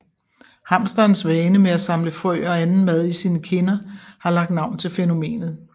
Hamsterens vane med at samle frø og anden mat i sine kinder har lagt navn til fænomenet